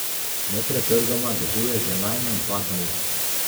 Nepretrgoma dežuje že najmanj dva dni.